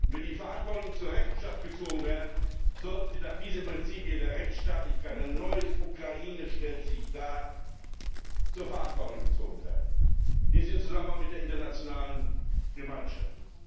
Wenn die Verantwortlichen zur Rechenschaft gezogen werden, sollten sie nach diesen Prinzipien der Rechtsstaatlichkeit eine neue Ukraine stellt sich dar zur Verantwortung gezogen werden. Dies im Zusammenhang mit der internationalen Gemeinschaft.